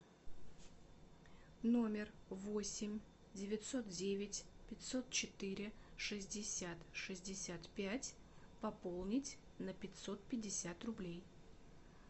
номер восемь девятьсот девять пятьсот четыре шестьдесят шестьдесят пять пополнить на пятьсот пятьдесят рублей